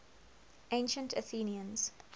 ancient athenians